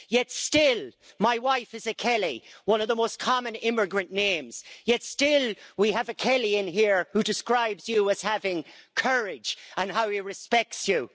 Yet, still, my wife is a Kelly, one of the most common immigrant names. Yet, still, we have a Kelly in here who describes you as having courage and says how he respects you.